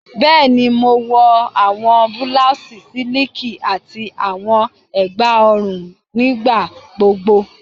Bẹẹni, Mo wọ awọn blouses siliki ati awọn egba ọrun nigbagbogbo